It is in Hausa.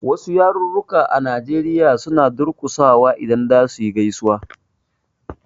Wasu yaruka a Nigeria suna durƙusawa idan za suyi gaisuwa.